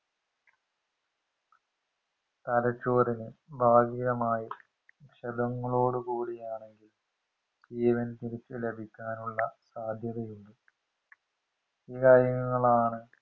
തലച്ചോറിന് ഭാഗികമായി ക്ഷതങ്ങളോടുകൂടിയാണെങ്കിൽ ജീവൻ തിരിച് ലഭിക്കാനുള്ള സാധ്യതയില്ല ഈ കാര്യങ്ങളാണ്